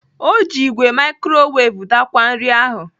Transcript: O ji igwe mikrowav daakwaa nri ahụ.